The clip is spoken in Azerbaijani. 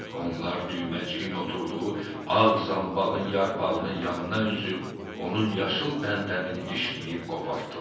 Onlar düyməciyin oturduğu ağ zanbağın yarpağının yanına üzüb, onun yaşıl pəndəmini dişləyib qopardılar.